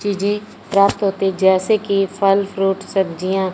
चीजें प्राप्त होती हैं जैसे कि फल फ्रूट सब्जियां--